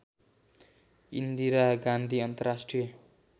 इन्दिरा गाँधी अन्तर्राष्ट्रिय